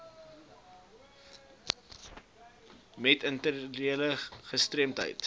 met intellektuele gestremdhede